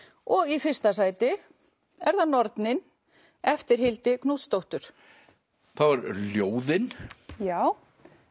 og í fyrsta sæti er það nornin eftir Hildi Knútsdóttur þá eru ljóðin já